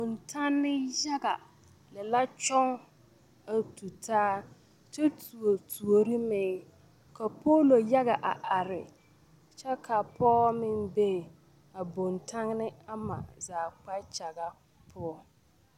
Bontanne yaga lɛ la kyɔŋ a tu taa kyɛ tuo tuori meŋ ka poolo yaga a are kyɛ ka pɔge meŋ be bontanne ama zaa kpakyaga poɔ.